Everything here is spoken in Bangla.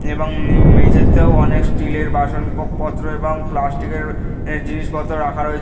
এবং উম মেঝেতেও অনেক স্টিল -এর বাসনপত্র এবং প্লাস্টিক -এর এ জিনিসপত্র রাখা রয়ে--